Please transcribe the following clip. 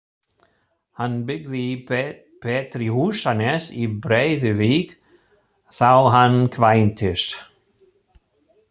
Hann byggði Pétri Húsanes í Breiðuvík þá hann kvæntist.